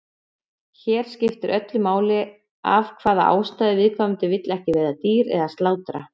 Hér skiptir öllu máli af hvaða ástæðu viðkomandi vill ekki veiða dýr eða slátra.